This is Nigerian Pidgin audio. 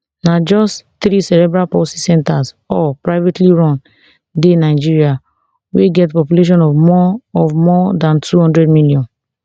na just three cerebral palsy centres all privately run dey nigeria wey get population of more of more dan two hundred million